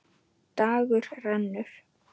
Dagur rennur.